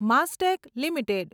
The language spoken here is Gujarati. માસ્ટેક લિમિટેડ